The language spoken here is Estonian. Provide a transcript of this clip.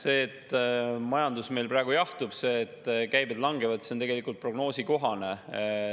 See, et majandus meil praegu jahtub, et käibed langevad, on tegelikult prognoosikohane.